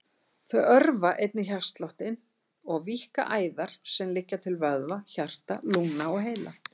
Þau örva einnig hjartsláttinn og víkka æðar sem liggja til vöðva, hjarta, lungna og heila.